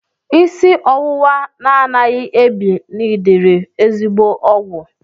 Isi ọwụwa na-anaghị ebi nidiri ezigbo ọgwụ.